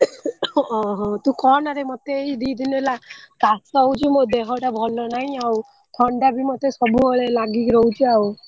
ଓହୋ ତୁ କହନାରେ ମତେ ଏଇ ଦି ଦିନ ହେଲା କାଶ ହଉଛି ମୋ ଦେହଟା ଭଲ ନାହି ଆଉ ଥଣ୍ଡାବି ମତେ ସବୁବେଳେ ଲାଗିକୀ ରହୁଛି ଆଉ।